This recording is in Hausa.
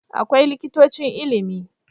Akwai Likitocin Ilimi